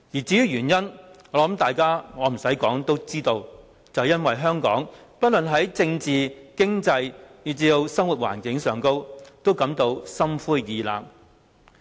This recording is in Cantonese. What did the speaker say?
至於原因，我想不用多說大家都知道，是因為香港人不論在政治、經濟以至生活環境方面都感到心灰意冷。